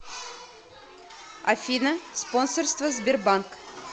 афина спонсорство сбербанк